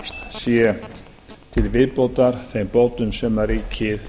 sé til viðbótar þeim bótum sem ríkið